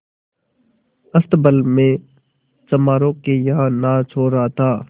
अस्तबल में चमारों के यहाँ नाच हो रहा था